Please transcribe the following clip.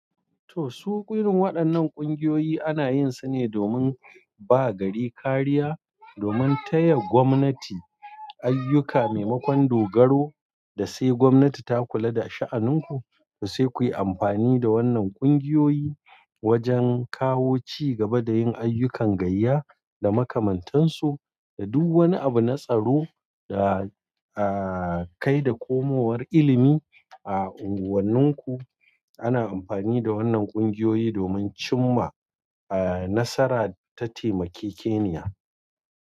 Toh, su irin waɗannan ƙungiyoyi ana yin su ne domin ba gari kariya, domin taya gwamnati aiyuka maimakon dogaro da sai gwamnati ta kula da sha'aninku. To sai kuyi amfani da wannan ƙungiyoyi wajen kawo cigaba da yin aiyukan gayya da makamantansu da duk wani abu na tsaro da, ah, kai da komowar ilimi a unguwanninku. Ana amfani da wannan ƙungiyoyi domin cim ma, ah, nasara ta taimake keniya.